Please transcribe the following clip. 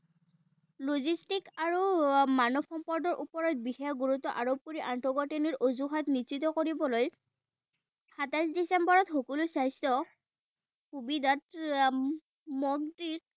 Logistic আৰু মানৱ সম্পদৰ ওপৰত বিশেষ গুৰুত্ব আৰোপ কৰি আন্তঃগাথঁনিৰ অজুহাত নিশ্চিত কৰিবলৈ সাতাইশ ডিচেম্বৰত সকলো স্বাস্থ্য সুবিধাত মন্ত্ৰী